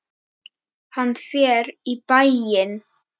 Hann fer í bæinn!